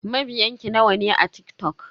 Mabiyan ki nawa ne a TikTok?